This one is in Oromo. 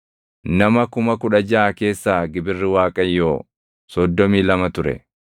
nama 16,000 keessaa gibirri Waaqayyoo 32 ture.